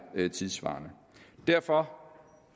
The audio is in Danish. tidssvarende derfor